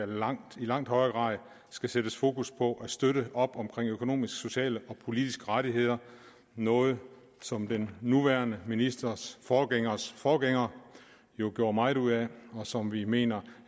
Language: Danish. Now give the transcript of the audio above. langt langt højere grad skal sættes fokus på at støtte op om økonomiske sociale og politiske rettigheder noget som den nuværende ministers forgængers forgænger jo gjorde meget ud af og som vi mener